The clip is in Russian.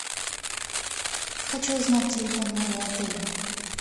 хочу узнать телефон моего отеля